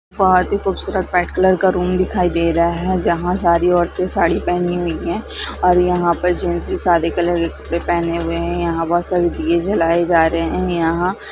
एक खूबसूरत white colour का रूम दिखाई दे रहा हैं जहा सारी औरते साड़ी पहनी हुई हैं ओर यहा पर जेन्स भी सादे कलर बे पहने हुए हैं यहा बहोत सारे दिये जलाए जा रहैं हैं। यहा--